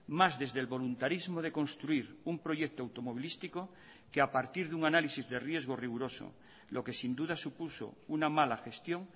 más desde el voluntarismo de construir un proyecto automovilístico que a partir de un análisis de riesgo riguroso lo que sin duda supuso una mala gestión